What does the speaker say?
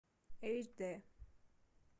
аш д